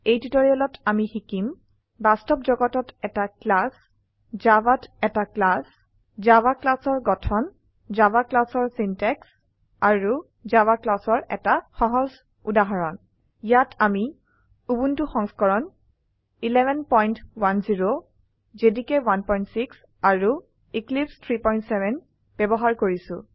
এই টিউটৰিয়েলত আমি শিকিম বাস্তব জগতত এটা ক্লাছ জাভাত এটা ক্লাছ জাভা clasঅৰ গঠন জাভা classঅৰ সিনট্যাক্স আৰু জাভা classঅৰ এটা সহজ উদাহৰণ ইয়াত আমি উবুন্টু সংস্কৰণ 1110 জেডিকে 16 আৰু এক্লিপছে 370 ব্যবহাৰ কৰিছো